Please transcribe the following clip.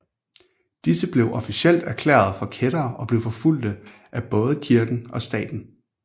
Disse blev officielt erklærede for kættere og blev forfulgte af både kirken og staten